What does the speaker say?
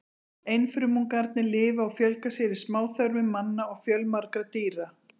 Einfrumungarnir lifa og fjölga sér í smáþörmum manna og fjölmargra dýra.